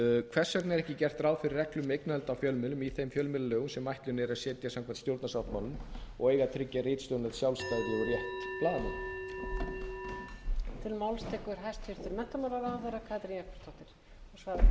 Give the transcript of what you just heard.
hvers vegna er ekki gert ráð fyrir reglum um eignarhald á fjölmiðlum í þeim fjölmiðlalögum sem ætlunin er að setja samkvæmt stjórnarsáttmálanum og eiga að tryggja ritstjórnarlegt sjálfstæði og rétt blaðamanna